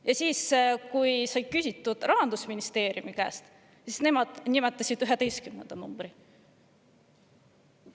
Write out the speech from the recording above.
Ja kui sai küsitud Rahandusministeeriumi käest, siis nemad nimetasid juba üheteistkümnenda numbri.